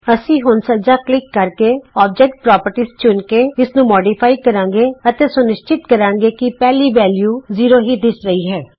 ਅਸੀਂ ਹੁਣ ਸੱਜਾ ਕਲਿਕ ਕਰਕੇ ਅੋਬਜੇਕਟ ਪ੍ਰੋਪਰਟੀਜ਼ ਚੁਣ ਕੇ ਇਸਨੂੰ ਸੰਸ਼ੋਧਿਤ ਕਰਾਂਗੇ ਅਤੇ ਸੁਨਿਸ਼ਚਿਤ ਕਰਾਂਗੇ ਕਿ ਪਹਿਲੀ ਵੇਲਯੂ ਜ਼ੀਰੋ ਹੀ ਦਿਸ ਰਹੀ ਹੈ